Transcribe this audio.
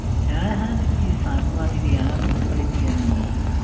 হ্যাঁ হ্যাঁ দিদি। শামিমা দিদি। হ্যাঁ বুঝতে পেরেছি আমি।